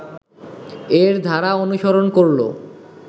এর ধারা অনুসরণ করল